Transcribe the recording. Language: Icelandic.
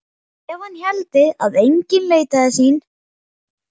Ef hann héldi að enginn leitaði sín.